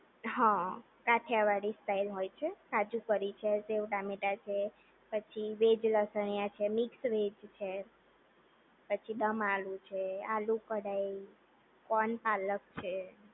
હા કાઠીયાવાડી સ્ટાઇલ હોય છે કાજુ કરી છે સેવ ટામેટા છે પછી વેજ લસણીયા છે મિક્સ વેજ છે પછી દમ આલુ છે આલુ કડાઈ કોણ પાલક છે